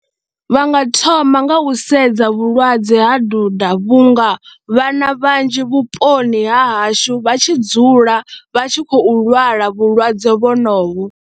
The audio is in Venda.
Vha nga thoma nga u sedza vhulwadze ha duda vhunga vhana vhanzhi vhuponi ha hashu vha tshi dzula vha tshi khou lwala vhulwadze vhonovho.